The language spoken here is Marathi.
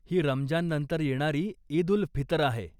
ही रमजान नंतर येणारी ईद उल फितर आहे.